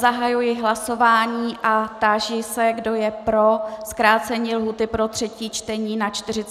Zahajuji hlasování a táži se, kdo je pro zkrácení lhůty pro třetí čtení na 48 hodin.